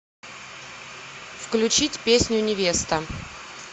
включить песню невеста